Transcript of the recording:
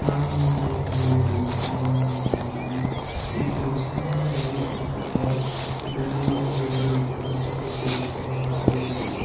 ನಾವು ಇಲ್ಲಿ ಒಂದು ದೇವಸ್ಥಾನವನ್ನು ನೋಡಕುಂತ್ತೀವಿ ಈ ದೇವಸ್ಥಾನ ಹೆಂಗ ಆಯತ್ತಿ ಅಂದ್ರೆ ಬೇಲೂರು ಹಳೇಬೀಡು ಪಟ್ಟದಕಲ್ಲು ದೇವಸ್ಥಾನ ಇದಂಗ ಆಯತ್ ಇದು.